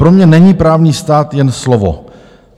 Pro mě není právní stát jen slovo."